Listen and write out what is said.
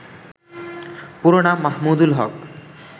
পুরো নাম মাহমুদুল হক